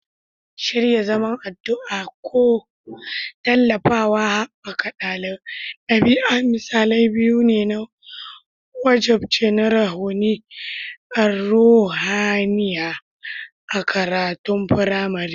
Shirya zaman addu'a ko tallafawa haɓaka ɗabi'a misalai biyu ne na wajibci na ruhaniya a makarantun firamare.